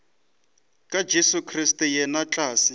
ka jesu kriste yena hlatse